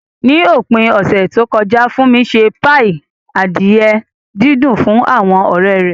Ní òpin ọ̀sẹ̀ tó kọjá, Funmi ṣe páì adìẹ dídùn fún àwọn ọ̀rẹ́ rẹ̀.